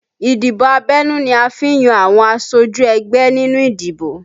Ìdìbò abẹ́nú ni a fi n yan àwọn aṣojú ẹgbẹ́ nínú ìdìbò